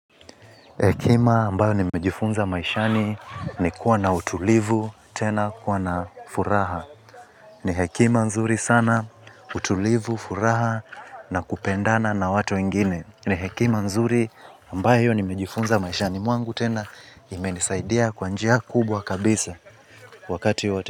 Hekima ambao nimejifunza maishani ni kuwa na utulivu tena kuwa na furaha. Ni hekima nzuri sana utulivu, furaha na kupendana na watu ingine. Ni hekima nzuri ambayo nimejifunza maishani mwangu, tena imenisaidia kwa njia kubwa kabisa, wakati wote.